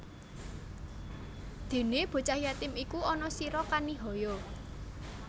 Dene bocah yatim iku aja sira kanihaya